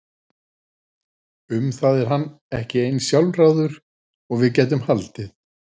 Um það er hann ekki eins sjálfráður og við gætum haldið.